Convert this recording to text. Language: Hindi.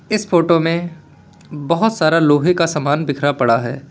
इस फोटो में बहुत सारा लोहे का सामान बिखरा पड़ा है।